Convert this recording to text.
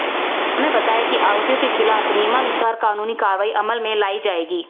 उन्होंने बताया कि आरोपियों के खिलाफ नियमानुसार कानूनी कार्रवाई अमल में लाई जाएगी